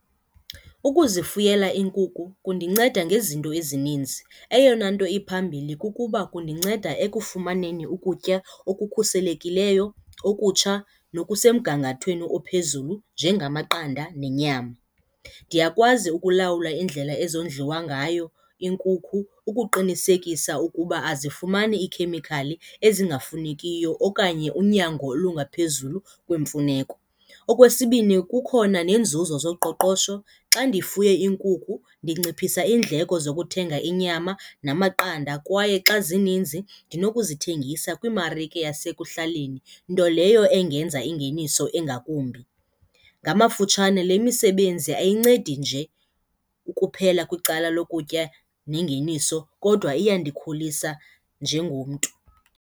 Ukuzifuyela iinkukhu kundinceda ngezinto ezininzi. Eyona nto iphambili kukuba kundinceda ekufumaneni ukutya okukhuselekileyo, okutsha nokosemgangathweni ophezulu njengamaqanda nenyama. Ndiyakwazi ukulawula iindlela ezondliwa ngayo iinkukhu ukuqinisekisa ukuba azifumani iikhemikhali ezingafunekiyo okanye unyango olungaphezulu kwemfuneko. Okwesibini, kukhona neenzuzo zoqoqosho, xa ndifuye iinkukhu ndinciphisa iindleko zokuthenga inyama namaqanda kwaye xa zininzi ndinokuzithengisa kwiimarike yasekuhlaleni nto next leyo engenza ingeniso engakumbi. Ngamafutshane, le misebenzi ayincedi nje ukuphela kwicala lokutya nengeniso kodwa iyandikhulise njengomntu.